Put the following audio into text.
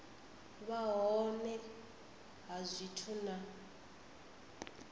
vha hone ha zwithu na